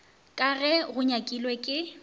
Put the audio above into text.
ka ge go nyakilwe ke